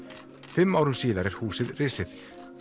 fimm árum síðar er húsið risið